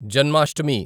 Janmashtami